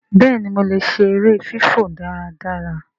béèni mọ lẹ ṣe èrè fifọ dáradára.